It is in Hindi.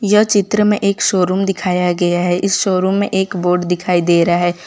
यह चित्र में एक शोरूम दिखाया गया है इस शोरूम में एक बोर्ड दिखाई दे रहा है।